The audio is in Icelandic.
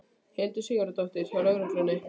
Hildur Sigurðardóttir: Hjá lögreglunni?